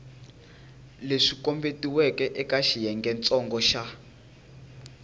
leswi kombetiweke eka xiyengentsongo xa